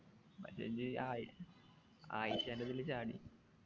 message ആയി ആയിഷാൻ്റെ ഇതില് ചാടി